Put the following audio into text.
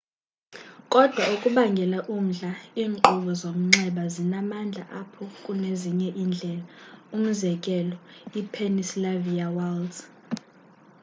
kodwa okubangela umdla iinkqubo zomnxxeba zinamandla apha kunezinye iindlela umzekelo i-pennsylvania wilds